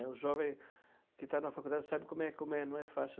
O jovem que está na faculdade sabe como é, como é, não é fácil.